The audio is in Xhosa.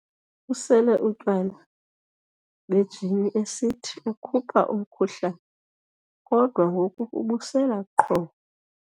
Usele utywala bejini esithi ukhupha umkhuhlane kodwa ngoku ubusela qho.